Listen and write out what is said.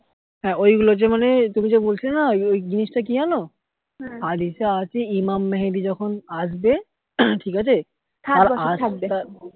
হ্যা ঐগুলো যে মানে তুমি যে বলছিলে না ওই জিনিসটা কি জানো আর ইসে আছে ইমাম মেহেদী যখন আসবে ঠিক আছে